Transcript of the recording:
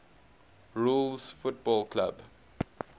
rules football clubs